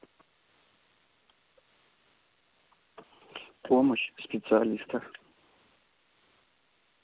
помощь специалиста